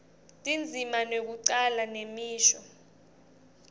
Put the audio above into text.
tindzima tekucala nemisho